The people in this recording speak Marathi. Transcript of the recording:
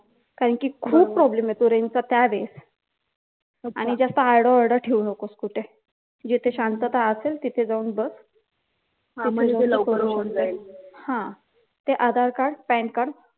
कारण की खूप problem येतो range चा त्या वेळेस ठेवू नकोस तिथे जिथे शांतता असेल तिथे जाऊन बस हा मग तिथे लवकर होऊन जाईल ते आधारकार्ड पॅनकार्ड